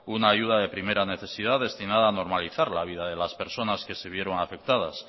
una ayuda de primera necesidad destinada a normalizar la vida de las personas que se vieron afectadas